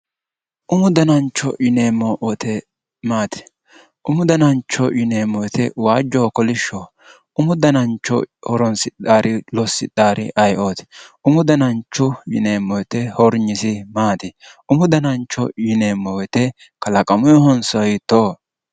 Umu danancho yineemo woyite maati umu danancho yineemo woyite waajoho kolishoho umu danancho horonsidhaari losidhaari ayiooti umu danancho yineemo woyite horynisi maati umu danancho yineemo woyite kalaqamuyihonso hiitooho